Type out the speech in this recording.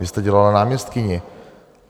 Vy jste dělala náměstkyni.